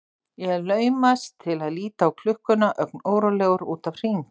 Ég laumast til að líta á klukkuna ögn órólegur út af Hring.